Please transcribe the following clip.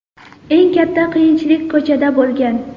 Eng katta qiyinchilik ko‘chada bo‘lgan.